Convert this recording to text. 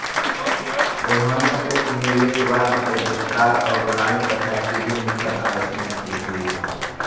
उन्होंने उपनिवेशवाद के विस्तार और गुलामी प्रथा की भी मुखर आलोचना की थी